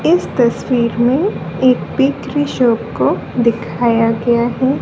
इस तस्वीर में एक बेकरी शॉप को दिखाया गया है।